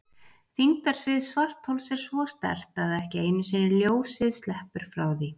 Þyngdarsvið svarthols er svo sterkt að ekki einu sinni ljósið sleppur frá því.